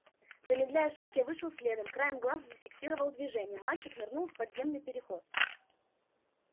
замедляя шаг я вышел следом краем глаза зафиксировал движение мальчик нырнул в подземный переход